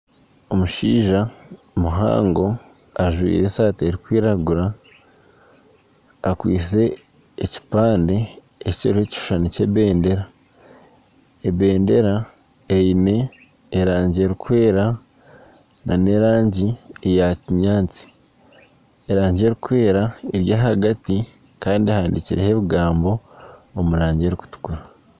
Omushaija muhango ajwaire esaati erikwiragura, akwaitse ekipande ekiriho ekishushani ky'ebendera. Ebendera eine erangi erikwera n'erangi eya kinyaatsi. Erangi erikwera eri ahagati kandi ehandikireho ebigambo omu rangi erikutukura.